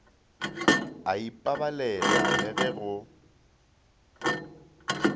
a ipabalela le ge go